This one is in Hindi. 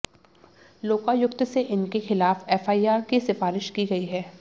लोकायुक्त से इनके खिलाफ एफआईआर की सिफारिश की गई है